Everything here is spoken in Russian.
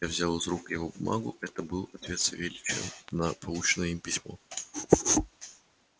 я взял из рук его бумагу это был ответ савельича на полученное им письмо